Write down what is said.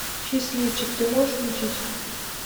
счастливчик ты можешь включить